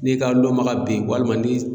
N'i ka lɔnbaga be ye walima ni s